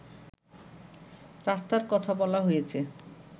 রাস্তার কথা বলা হয়েছে